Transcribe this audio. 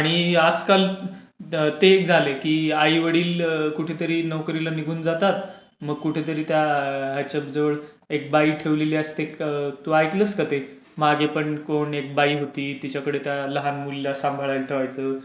आणि आजकाल तेच झालंय की आईवडील कुठेतरी नोकरीला निघून जातात. मग कुठेतरी त्या हयच्या जवळ एक बाई ठेवलेली असते, तू ऐकलंस का ते? मागे पण कोण एक बाई होती, तिच्याकडे त्या लहान मुललीला सांभाळायला ठेवायचं.